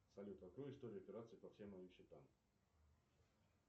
салют открой историю операций по всем моим счетам